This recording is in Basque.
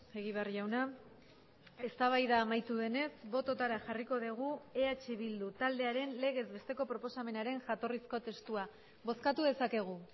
egibar jauna eztabaida amaitu denez bototara jarriko dugu eh bildu taldearen legez besteko proposamenaren jatorrizko testua bozkatu dezakegu